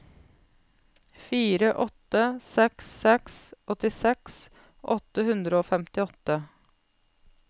fire åtte seks seks åttiseks åtte hundre og femtiåtte